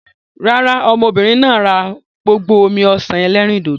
Rárá, ọmọbìnrin náà rà gbogbo omi-ọsan ẹlẹ́rìndòdò.